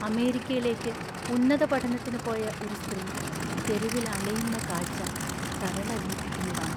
അമേരിക്കയിലേക്ക് ഉന്നത പഠനത്തിന് പോയ ഒരു സ്ത്രീ തെരുവിൽ അലയുന്ന കാഴ്ച്ച കരളലിയിപ്പിക്കുന്നതാണ്.